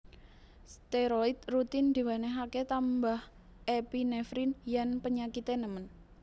Steroid rutin diwenehake tambah epinefrin yen penyakite nemen